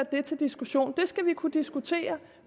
det til diskussion det skal vi kunne diskutere